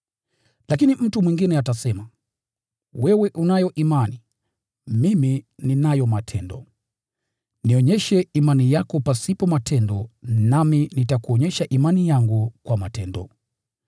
Lakini mtu mwingine atasema, “Wewe unayo imani; mimi ninayo matendo.” Nionyeshe imani yako pasipo matendo nami nitakuonyesha imani yangu kwa matendo.